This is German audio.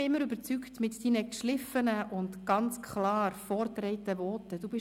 Mit deinen geschliffenen und ganz klar vorgetragenen Voten hast du mich immer überzeugt.